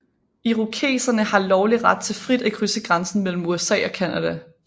Irokesere har lovlig ret til frit at krydse grænsen mellem USA og Canada